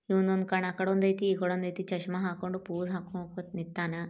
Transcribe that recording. ಇವ್ನದೊಂದ್ ಕಣ್ಣ್ ಆಕಡೆ ಒಂದೈತಿ ಇಕಾಡಿ ಒಂದೈತಿ ಚಶ್ಮ ಹಾಕೊಂಡು ಪೋಸ್ ಹಾಕ್ಕೊಂಡು ಹುಕ್ಕೊಂಡ್ ನಿಂತಾನ.